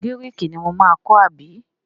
Gíréékí ni mo máa kọ́ àbí?